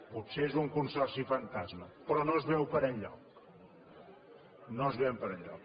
potser és un consorci fantasma però no es veu per enlloc no es veu per enlloc